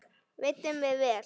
Veiddum við vel.